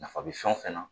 Nafa bɛ fɛn o fɛn na